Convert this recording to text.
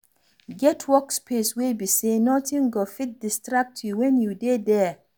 Get work space wey be sey nothing go fit distract you when you dey there